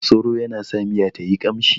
Masoro yana sa miya tayi ƙamshi